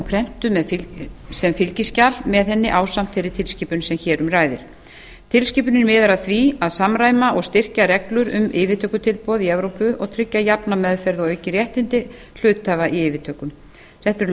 er hún prentuð sem fylgiskjal með henni ásamt þeirri tilskipun sem hér um ræðir tilskipunin miðar að því að samræma og styrkja reglur um yfirtökutilboð í evrópu og tryggja jafna meðferð og aukin réttindi hluthafa í yfirtökum þetta eru